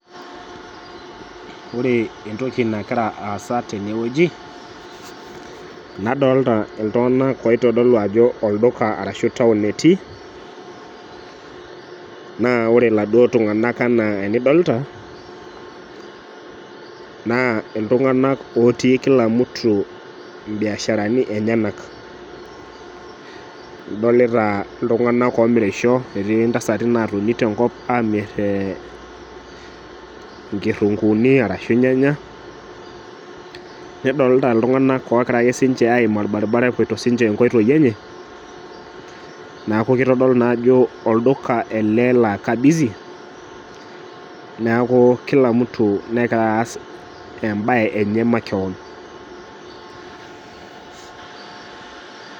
Wore entoki nakira aasa tene wueji, nadolita iltunganak oitodolu ajo olduka arashu town etii. Naa wore iladuo tunganak enaa enidolita, naa iltunganak ootii kila mtu imbiasharani enyanak. Idolita iltunganak oomirisho, etii intasati naatoni tenkop aamir inkirunguuni arashu ilnyanya, nidolta iltunganak ookira ake sinche aiim olbaribara epoito sinche inkoitoi enye, neeku kitodolu naa ajo olduka ele laa ka busy, neeku kila mtu nekira aas embae enye makewon.